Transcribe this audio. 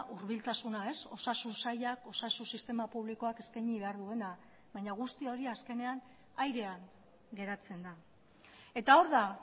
hurbiltasuna osasun sailak osasun sistema publikoak eskaini behar duena baina guzti hori azkenean airean geratzen da eta hor da